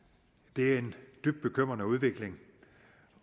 det er en dybt bekymrende udvikling